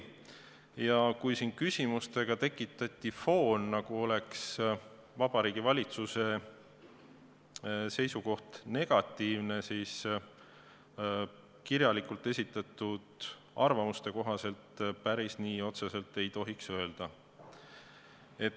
Ja kui siin küsimustega tekitati foon, nagu oleks Vabariigi Valitsuse seisukoht negatiivne, siis kirjalikult esitatud arvamuste kohaselt otseselt päris nii ei tohiks öelda.